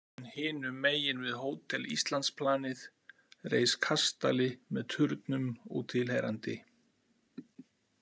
En hinum megin við Hótel Íslandsplanið reis kastali með turnum og tilheyrandi.